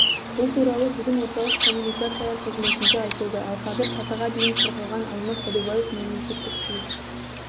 бұл туралы бүгін орталық коммуникациялар қызметінде айтылды ал қазір сатыға дейін сырғыған алмас сәдубаев мемлекеттік тіл